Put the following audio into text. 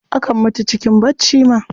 Akan mutu cikin barci ma.